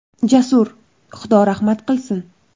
Jasur, Xudo rahmat qilsin.